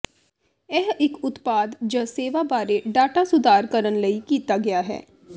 ਇਹ ਇੱਕ ਉਤਪਾਦ ਜ ਸੇਵਾ ਬਾਰੇ ਡਾਟਾ ਸੁਧਾਰ ਕਰਨ ਲਈ ਕੀਤਾ ਗਿਆ ਹੈ